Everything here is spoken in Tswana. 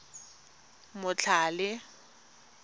motlhale